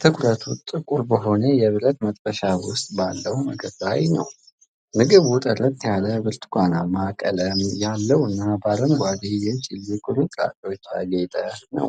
ትኩረቱ ጥቁር በሆነ የብረት መጥበሻ ውስጥ ባለው ምግብ ላይ ነው። ምግቡ ጥርት ያለ ብርቱካናማ ቀለም ያለው እና በአረንጓዴ የቺሊ ቁርጥራጮች ያጌጠ ነው።